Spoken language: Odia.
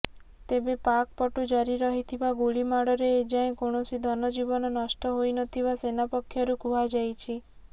ତେବେ ପାକ୍ ପଟୁ ଜାରି ରହିଥିବା ଗୁଳିମାଡ଼ରେ ଏଯାଏଁ କୌଣସି ଧନଜୀବନ ନଷ୍ଟ ହୋଇନଥିବା ସେନା ପକ୍ଷରୁ କୁହାଯାଇଛି